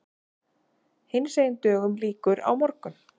Hinsegin dögum lýkur á morgun.